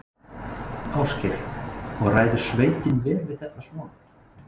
Ásgeir: Og ræður sveitin vel við þetta svona?